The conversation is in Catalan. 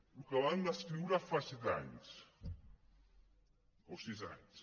el que van escriure fa set anys o sis anys